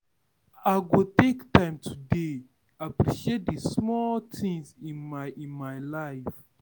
I go take time today to appreciate di small things in my in my life.